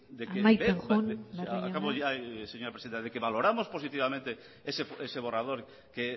amaitzen joan barrio jauna acabo ya señora presidenta de que valoramos positivamente ese borrador que